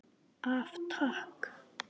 Af Takk.